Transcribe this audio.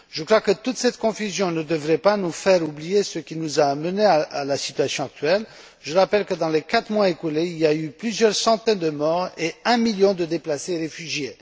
Je crois que toute cette confusion ne devrait pas nous faire oublier ce qui nous a amenés à la situation actuelle. Je rappelle que, dans les quatre mois écoulés, il y a eu plusieurs centaines de morts et un million de déplacés réfugiés.